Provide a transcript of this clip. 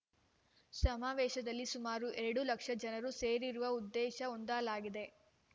ಸಮಾವೇಶದಲ್ಲಿ ಸುಮಾರು ಎರಡು ಲಕ್ಷ ಜನರನ್ನು ಸೇರಿಸುವ ಉದ್ದೇಶ ಹೊಂದಲಾಗಿದೆ